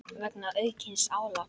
vegna aukins álags.